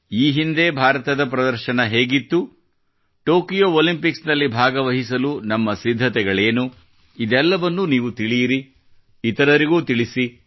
ಈ ಹಿಂದೆ ಭಾರತದ ಪ್ರದರ್ಶನ ಹೇಗಿತ್ತು ಟೊಕೊಯೋ ಒಲಿಂಪಿಕ್ಸ್ ನಲ್ಲಿ ಭಾಗವಹಿಸಲು ನಮ್ಮ ಸಿದ್ಧತೆಗಳೇನು ಇದೆಲ್ಲವನ್ನು ನೀವು ತಿಳಿಯಿರಿ ಇತರರಿಗೂ ತಿಳಿಸಿ